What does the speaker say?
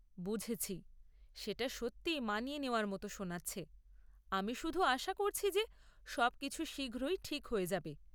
বুঝেছি, সেটা সত্যিই মানিয়ে নেওয়ার মতো শোনাচ্ছে; আমি শুধু আশা করছি যে সবকিছু শীঘ্রই ঠিক হয়ে যাবে।